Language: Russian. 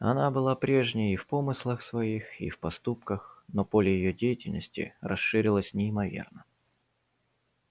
она была прежней и в помыслах своих и в поступках но поле её деятельности расширилось неимоверно